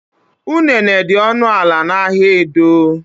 Unene dị ọnụ ala n'ahịa Edo.